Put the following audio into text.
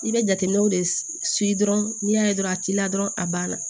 I bɛ jateminɛw de dɔrɔn n'i y'a ye dɔrɔn a t'i la dɔrɔn a ban na